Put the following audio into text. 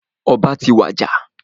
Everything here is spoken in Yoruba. Ọba ti wàjà.